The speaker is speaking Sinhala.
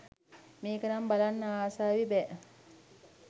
මේක නම් බලන්න ආසාවෙ බෑ